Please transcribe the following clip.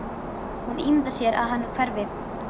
Hún ímyndar sér að hann hverfi.